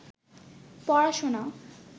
পড়াশোনা